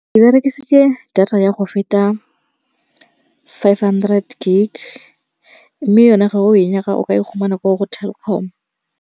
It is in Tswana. Ke berekisitse data ya go feta five hundred gig, mme yone ga o e nyaka o ka e khumana ko go Telkom.